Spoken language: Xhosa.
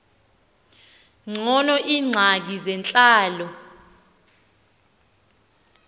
ngcono iingxaki zentlalo